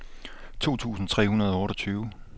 to tusind tre hundrede og otteogtyve